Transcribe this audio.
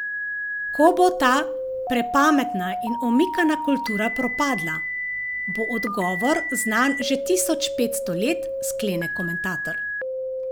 Ko bo ta prepametna in omikana kultura propadla, bo odgovor znan že tisoč petsto let, sklene komentator.